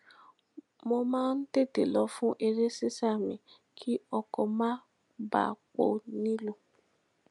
mo máa ń tètè lọ fun eré sisa mi kí ọkò má bàa pò nílùú